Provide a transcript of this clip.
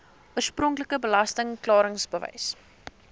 oorspronklike belasting klaringsbewys